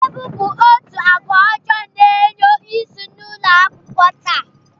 Mmegbu bụ otu agwa ọjọọ na-enyo isi n'ụlọakwụkwọ taa